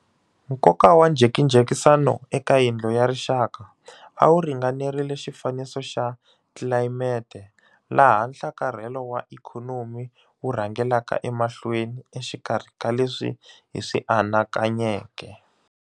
Nkoka wa njhekanjhekisano eka Yindlu ya Rixaka a wu ringanerile xifaniso xa tlilayimete laha nhlakarhelo wa ikhonomi wu rhangelaka emahlweni exikarhi ka leswi hi swi anakanyeke.